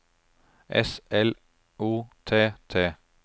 S L O T T